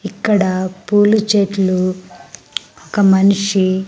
ఇక్కడ పూలు చెట్లు ఒక మనిషి--